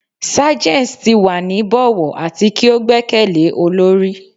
Sergeants ti wa ni bọwọ ati ki o gbẹkẹle olori